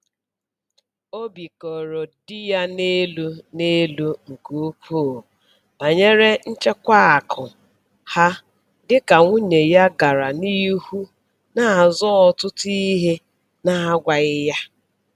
Obi koro di ya n'elu n'elu nke ukwuu banyere nchekwa akụ ha dịka nwunye ya gara n'ihu na-azụ ọtụtụ ihe na-agwaghị ya